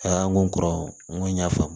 Aa n ko kɔrɔ n ko y'a faamu